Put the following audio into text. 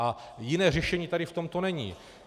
A jiné řešení tady v tomto není.